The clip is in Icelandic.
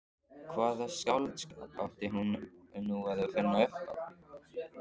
Hvaða skáldskap átti nú að finna upp á?